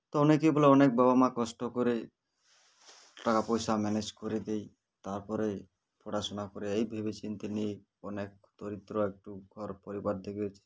তো অনেকেই বলে অনেক বাবা মা কষ্ট করে টাকা পয়সা manage করে দেই তারপরে পড়াশোনা করে এই ভেবেচিন্তে নি অনেক দরিদ্র একটু ঘর পরিবার দেখে